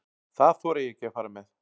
Það þori ég ekki að fara með.